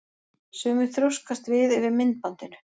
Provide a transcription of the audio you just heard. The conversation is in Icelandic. Sumir þrjóskast við yfir myndbandinu.